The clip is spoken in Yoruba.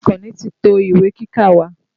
Àkànní ti to ìwé kíkà wa.